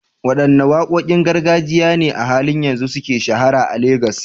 Wadanne wakokin gargajiya ne a halin yanzu suka shahara a Legas?